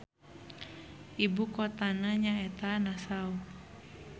Ibu kotana nyaeta Nassau.